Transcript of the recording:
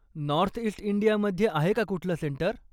North east इंडियामध्ये आहे का कुठलं सेंटर?